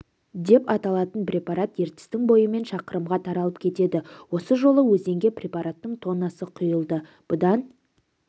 деп аталатын препарат ертістің бойымен шақырымға таралып кетеді осы жолы өзенге препараттың тоннасы құйылды бұдан